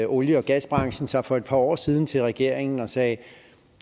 olie og gasbranchen sig for et par år siden til regeringen og sagde